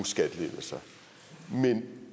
skattelettelser men